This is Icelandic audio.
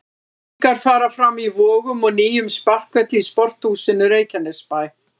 Æfingar fara fram í Vogum og nýjum sparkvelli í Sporthúsinu Reykjanesbæ.